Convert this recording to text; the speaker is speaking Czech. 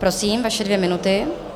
Prosím, vaše dvě minuty.